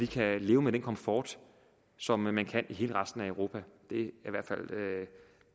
kan leve med den komfort som man kan i hele resten af europa